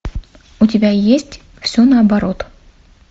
у тебя есть все наоборот